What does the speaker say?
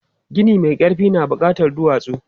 Gini mai ƙarfi na buƙatan duwatsu.